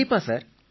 கண்டிப்பா சார்